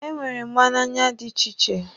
E nwere mgba n'anya dị iche iche.